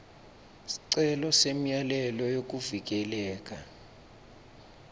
sicelo semyalelo wekuvikeleka